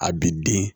A bi den